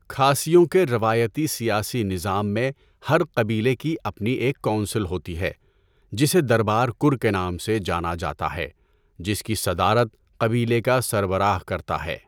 کھاسیوں کے روایتی سیاسی نظام میں ہر قبیلے کی اپنی ایک کونسل ہوتی ہے جسے دربار کُر کے نام سے جانا جاتا ہے جس کی صدارت قبیلے کا سربراہ کرتا ہے۔